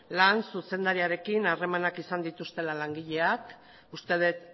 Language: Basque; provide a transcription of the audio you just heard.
lan zuzendariarekin harremanak izan dituztela langileak uste dut